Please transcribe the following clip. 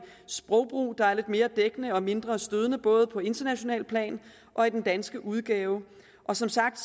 sprogbrug der er lidt mere dækkende og mindre stødende både på internationalt plan og i den danske udgave som sagt